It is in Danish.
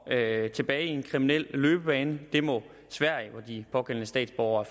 tilbage i en kriminel løbebane det må sverige hvor de pågældende statsborgere